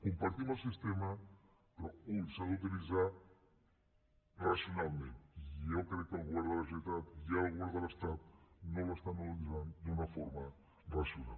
compartim el sistema però atenció s’ha d’utilitzar racionalment i jo crec que el govern de la generalitat i el govern de l’estat no l’estan utilitzant d’una forma racional